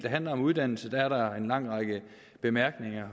handler om uddannelse er der en lang række bemærkninger